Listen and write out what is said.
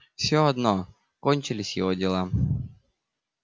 все одно кончились его дела